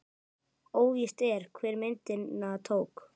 Óvíst er, hver myndina tók.